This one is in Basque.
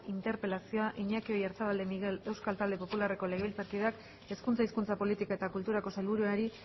interpelazioa iñaki oyarzabal de miguel euskal talde popularreko legebiltzarkideak hezkuntza hizkuntza politika eta kulturako sailburuari